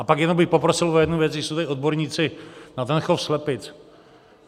A pak jenom bych poprosil o jednu věc, když jsou tady odborníci na ten chov slepic.